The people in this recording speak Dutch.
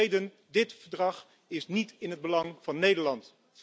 De reden dit verdrag is niet in het belang van Nederland.